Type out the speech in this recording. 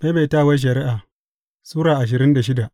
Maimaitawar Shari’a Sura ashirin da shida